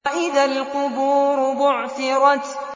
وَإِذَا الْقُبُورُ بُعْثِرَتْ